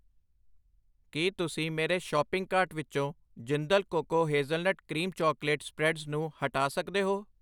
ਕੀ ਤੁਸੀਂ ਮੇਰੇ shopping cart ਵਿੱਚੋ Jindal cocoa hazelnut cream chocolate ਫੈਲਦਾ ਨੂੰ ਹਟਾ ਸਕਦੇ ਹੋ?